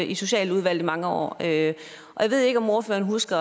i socialudvalget mange år og jeg ved ikke om ordføreren husker